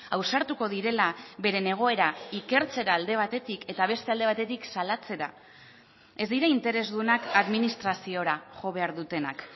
ausartuko direla beren egoera ikertzera alde batetik eta beste alde batetik salatzera ez dira interesdunak administraziora jo behar dutenak